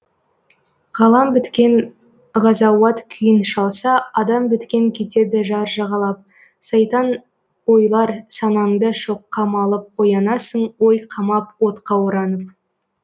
ғалам біткен ғазауат күйін шалса адам біткен кетеді жар жағалап сайтан ойлар санаңды шоққа малып оянасың ой қамап отқа оранып